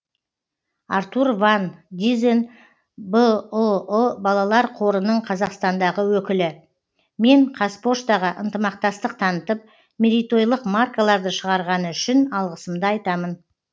артур ван дизен бұұ балалар қорының қазақстандағы өкілі мен қазпоштаға ынтымақтастық танытып мерейтойлық маркаларды шығарғаны үшін алғысымды айтамын